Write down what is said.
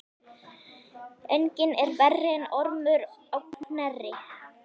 Enginn er verri en Ormur á Knerri.